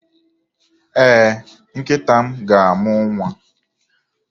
Ee, nkịta m ga-amụ nwa